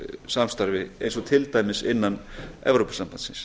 samstarfi eins og til dæmis innan evrópusambandsins